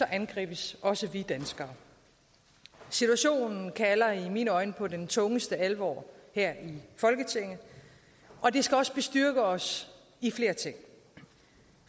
angribes også vi danskere situationen kalder i mine øjne på den tungeste alvor her i folketinget og det skal også bestyrke os i flere ting